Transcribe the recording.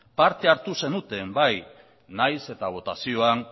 parte hartu zenuten bai nahiz eta botazioan